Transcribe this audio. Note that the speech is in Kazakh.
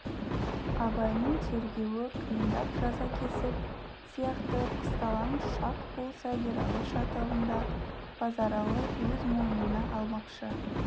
абайдың тергеуі қиындап жаза кесік сияқты қысталаң шақ болса ералы шатағын да базаралы өз мойнына алмақшы